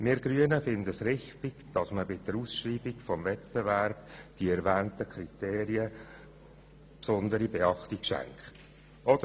Wir Grünen finden es richtig, dass bei der Ausschreibung des Wettbewerbs den erwähnten Kriterien besondere Beachtung geschenkt wird.